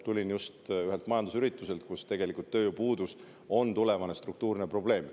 Tulin just ühelt majandusürituselt, kus tööjõupuudus on tulevane struktuurne probleem.